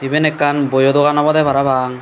iben ekkan boyo dogan obodey parapang.